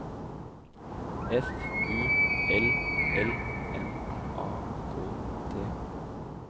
F U L L M A K T